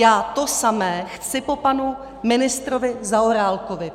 Já to samé chci po panu ministrovi Zaorálkovi.